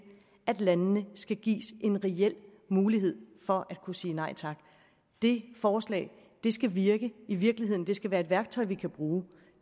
at landene skal gives en reel mulighed for at kunne sige nej tak det forslag skal virke i virkeligheden det skal være et værktøj vi kan bruge